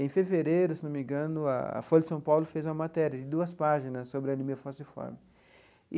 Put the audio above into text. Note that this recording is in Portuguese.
Em fevereiro, se não me engano, a Folha de São Paulo fez uma matéria de duas páginas sobre anemia falciforme.